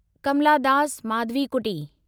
Kamla Das Madhavikutty